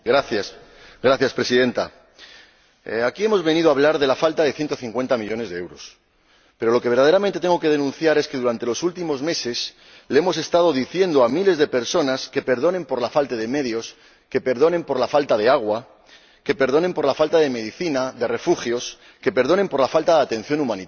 Señora Presidenta, aquí hemos venido a hablar de la falta de 150 millones de euros, pero lo que verdaderamente tengo que denunciar es que durante los últimos meses le hemos estado diciendo a miles de personas que perdonen por la falta de medios, que perdonen por la falta de agua, que perdonen por la falta de medicinas, de refugios, que perdonen por la falta de atención humanitaria.